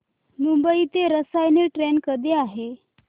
मुंबई ते रसायनी ट्रेन कधी आहे